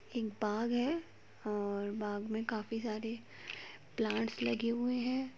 एक बाग है और बाग़ में काफी सारे प्लांट्स लगे हुए हैं।